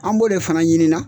An b'o de fana ɲini na.